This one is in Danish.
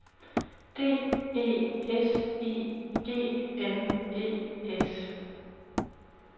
D E S I G N E S